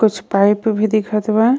कुछ पाइप भी दिखत बा।